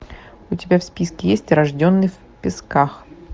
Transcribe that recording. у тебя в списке есть рожденный в песках